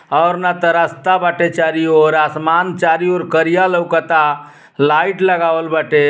और ना त रास्ता बाटे चारि ओरआसमान चारी और करिया लउकता लाइट लगावल बाटे --